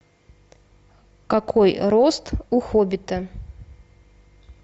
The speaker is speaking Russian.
какой рост у хоббита